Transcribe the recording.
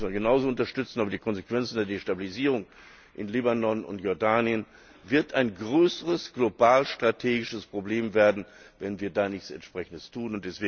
Dabei müssen wir sie genauso unterstützen, aber die Konsequenz aus der Destabilisierung in Libanon und Jordanien wird ein größeres globalstrategisches Problem werden, wenn wir da nichts Entsprechendes tun.